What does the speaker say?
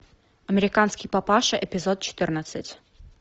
американский папаша эпизод четырнадцать